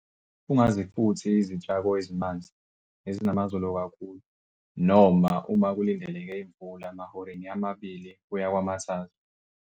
Ungazifuthi izitshako ezimanzi, ezinamazolo kakhulu, noma uma kulindeleke imvula mahoreni ama-2 kuya kwama-3.